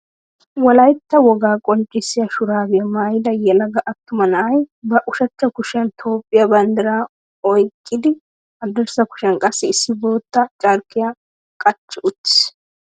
Wolaytta wogaa qonccissiya shuraabiya maayida yelaga attuma na'ay ba ushachcha kushiyan Toophphiya banddiraa oyqqidi haddirssa kushiyan qassi issi bootta carqqiya qachchi uttiis.